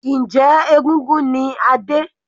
Njẹ́ egúngún ni Adé?